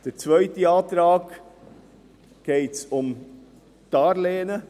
Im zweiten Antrag geht es um Darlehen.